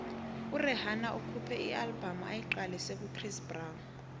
urhihana ukhuphe ialbum ayiqalise kuchris brown